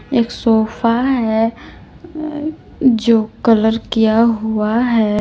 एक सोफा है अह जो कलर किया हुआ है।